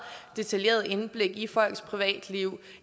detaljeret indblik i folks privatliv